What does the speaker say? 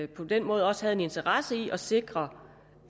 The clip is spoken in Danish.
på den måde også havde en interesse i at sikre